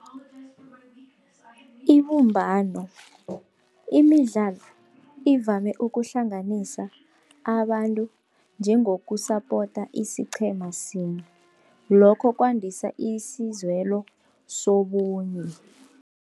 Ibumbano, imidlalo ivame ukuhlanganisa abantu njengokusapota isiqhema sinye, lokho kwandisa isizwelo sobunye.